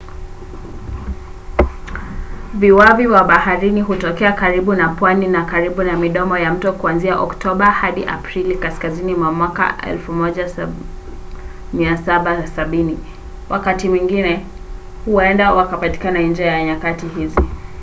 viwavi wa baharini hutokea karibu na pwani na karibu na midomo ya mto kuanzia oktoba hadi aprili kaskazini mwa 1770. wakati mwingine huenda wakapatikana nje ya nyakati hizi